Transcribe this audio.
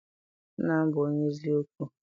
nna m bu onye eziokwu.